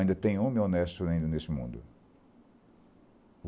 Ainda tem homem honesto ainda nesse mundo.